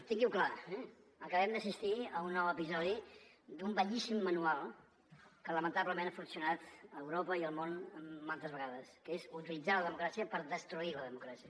tingui ho clar eh acabem d’assistir a un nou episodi d’un vellíssim manual que lamentablement ha funcionat a europa i al món mantes vegades que és utilitzar la democràcia per destruir la democràcia